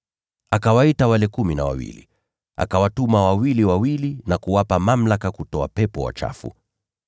Akawaita wale kumi na wawili, akawatuma wawili wawili, na kuwapa mamlaka kutoa pepo wachafu.